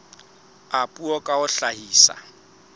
a puo ka ho hlahisa